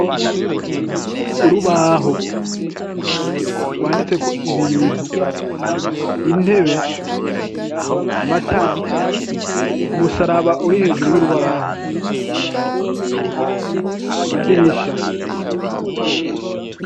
Urubaho rwanditseko ibintu, intebe ,amatara ,umusaraba uri hejuru y'urubaho, amadirisha.